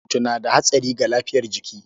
Burkutu na da hatsari ga lafiyar jiki.